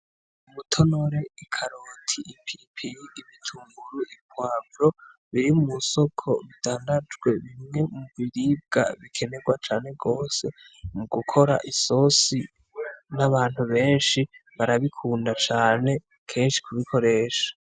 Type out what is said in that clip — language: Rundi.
Umutore, ikaroti, ipiripiri, ibitunguru, ipwavo biri mw'isoko bidandajwe nibindi biribwa bikenerwa cane gose mugokora isosi ;n'abantu benshi barabikunda cane kenshi kubikoresha .